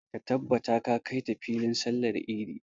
Ka tabbata ka kai ta filin sallar idi!